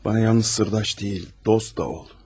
Mənə yalnız sirdaş deyil, dost da ol.